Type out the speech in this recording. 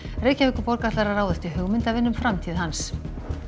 Reykjavíkurborg ætlar að ráðast í hugmyndavinnu um framtíð hans